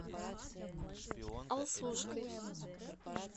алсушкой